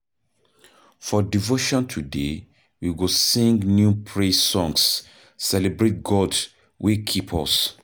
For devotion today, we go sing new praise songs, celebrate God wey keep us.